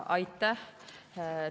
Aitäh!